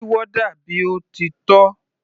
Kí warder bí ó ti tọ́.